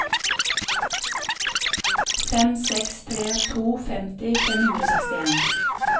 fem seks tre to femti fem hundre og sekstien